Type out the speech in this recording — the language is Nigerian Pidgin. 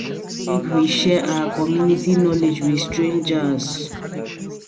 make we dey share our community knowledge with strangers